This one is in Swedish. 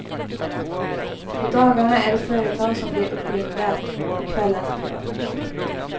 På dagarna är det företag som blir uppringda, på kvällarna privatpersoner.